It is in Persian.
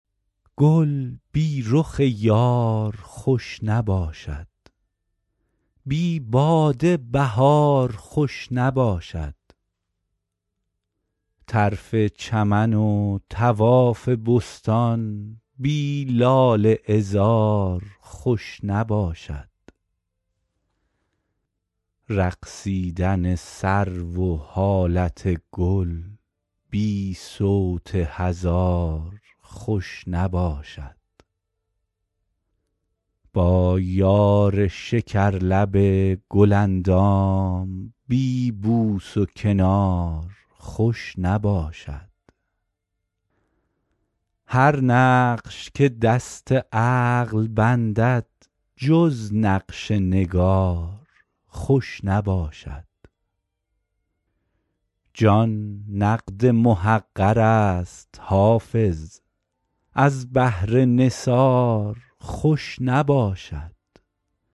گل بی رخ یار خوش نباشد بی باده بهار خوش نباشد طرف چمن و طواف بستان بی لاله عذار خوش نباشد رقصیدن سرو و حالت گل بی صوت هزار خوش نباشد با یار شکرلب گل اندام بی بوس و کنار خوش نباشد هر نقش که دست عقل بندد جز نقش نگار خوش نباشد جان نقد محقر است حافظ از بهر نثار خوش نباشد